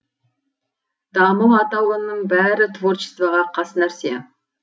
дамыл атаулының бәрі творчествоға қас нәрсе